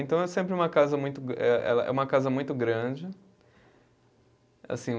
Então é sempre uma casa muito eh ela, é uma casa muito grande. Assim